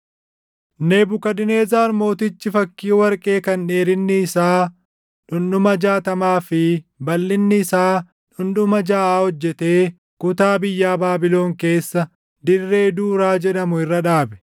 Nebukadnezar Mootichi fakkii warqee kan dheerinni isaa dhundhuma jaatamaa fi balʼinni isaa dhundhuma jaʼaa hojjetee kutaa biyyaa Baabilon keessa dirree Duuraa jedhamu irra dhaabe.